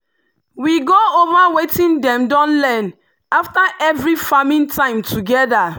we go over wetin dem don learn after every farming time together.